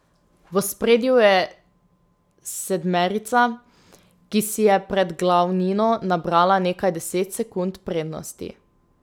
V ospredju je sedmerica, ki si je pred glavnino nabrala nekaj deset sekund prednosti.